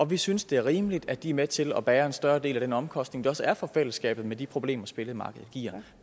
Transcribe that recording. vi synes det er rimeligt at de er med til at bære en større del af den omkostning der også er for fællesskabet med de problemer spillemarkedet giver